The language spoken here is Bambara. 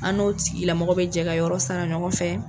An n'o tigilamɔgɔ bɛ jɛ ka yɔrɔ sara ɲɔgɔn fɛ.